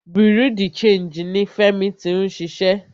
Bureau di changii ní Fẹ́mi tí ń ṣiṣẹ́.